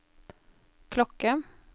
klokke